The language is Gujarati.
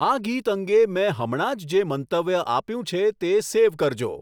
આ ગીત અંગે મેં હમણાં જ જે મંતવ્ય આપ્યું છે તે સેવ કરજો